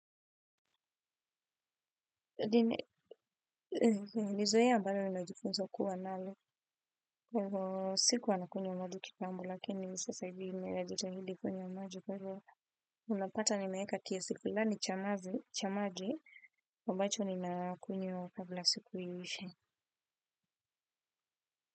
Hadi, ni zoea ambalo najifunza kuwa nalo, sikuwa nakunywa maji kitambo, lakini sasa hivi ninajitahidi kunywa maji, kwa hivyo unapata nimeeka kiasi fulani cha maji, ambacho ninakunywa kabla siku iishe.